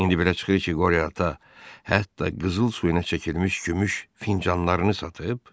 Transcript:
İndi belə çıxır ki, qoria ata hətta qızıl suyuna çəkilmiş gümüş fincanlarını satıb?